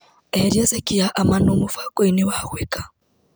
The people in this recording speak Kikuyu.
Eheria ceki ya Amanũ mũbango-inĩ wa gwĩka .